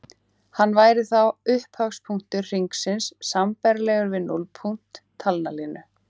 Hann væri þá upphafspunktur hringsins sambærilegur við núllpunkt talnalínu.